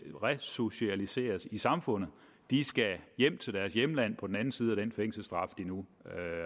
resocialiseres i samfundet de skal hjem til deres hjemlande på den anden side af den fængselsstraf de nu